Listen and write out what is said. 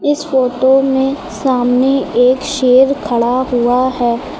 इस फोटो में सामने एक शेर खड़ा हुआ है।